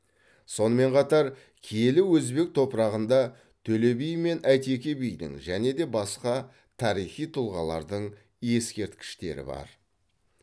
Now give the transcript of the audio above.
сонымен қатар киелі өзбек топырағында төле би мен әйтеке бидің және де басқа тарихи тұлғалардың ескерткіштері бар